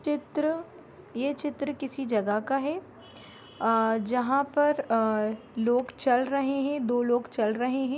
चित्र ये चित्र किसी जगह का है आ जहाँ पर आ लोग चल रहे हैं दो लोग चल रहे हैं।